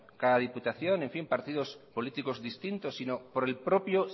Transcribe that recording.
cada diputación partidos políticos distintos sino por el propio